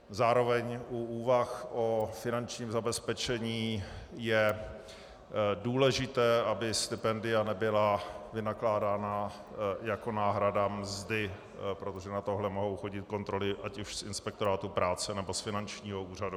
Zároveň u úvah o finančním zabezpečení je důležité, aby stipendia nebyla vynakládána jako náhrada mzdy, protože na tohle mohou chodit kontroly ať už z inspektorátu práce, nebo z finančního úřadu.